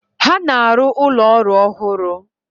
Ha na-arụ ụlọ ọrụ ọhụrụ.